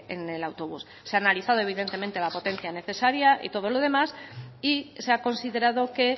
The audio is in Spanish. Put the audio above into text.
en el autobús se ha analizado evidentemente la potencia necesaria y todo lo demás y se ha considerado que